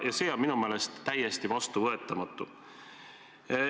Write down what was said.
Ja see on minu meelest täiesti vastuvõetamatu.